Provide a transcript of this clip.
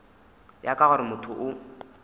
ya ka gore motho o